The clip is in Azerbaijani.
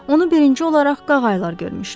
Onu birinci olaraq qağaylar görmüşdülər.